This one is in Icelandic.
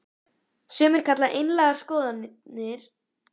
Sumir kalla einlægar skoðanir mínar í bindindismálum öfgar.